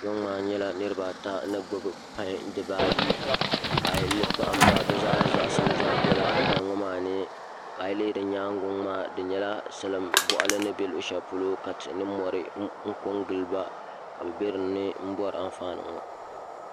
Kpɛ ŋo maa nyɛla niraba ata ni gbubi pai dibayi ka ayi kpahamba bi zaa zaŋsim biɛla pai ŋo maa ni ka ayi lihi di nyaangi ŋo maa di nyɛla salin boɣali ni bɛ luɣu shɛli polo ka tihi ni mori n ko n giliba ka bi biɛ dinni n bori anfaani ŋo